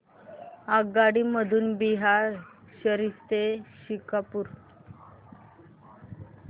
आगगाडी मधून बिहार शरीफ ते शेखपुरा